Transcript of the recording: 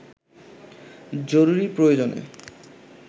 জরুরি প্রয়োজনে